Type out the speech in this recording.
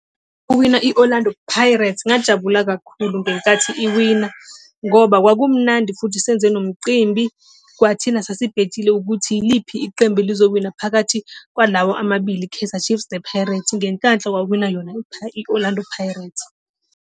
kuwina i-Orlando Pirates ngajabula kakhulu ngenkathi iwina ngoba kwakumnandi futhi senze nomcimbi. Kwathina sasibhethile ukuthi yiliphi iqembu elizowina phakathi kwalawa amabili i-Kaizer Chiefs nePirates, ngenhlanhla kwawina yona i-Orlando Pirates.